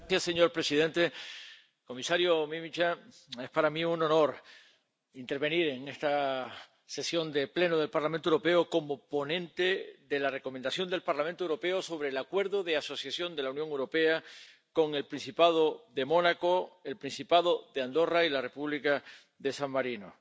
Señor presidente, señor comisario, es para mí un honor intervenir en esta sesión del Pleno del Parlamento Europeo como ponente de la Recomendación del Parlamento Europeo sobre el Acuerdo de Asociación de la Unión Europea con el Principado de Mónaco, el Principado de Andorra y la República de San Marino.